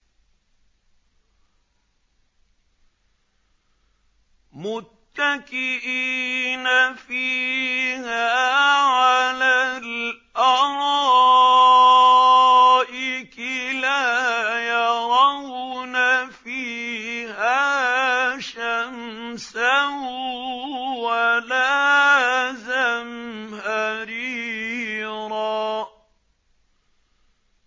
مُّتَّكِئِينَ فِيهَا عَلَى الْأَرَائِكِ ۖ لَا يَرَوْنَ فِيهَا شَمْسًا وَلَا زَمْهَرِيرًا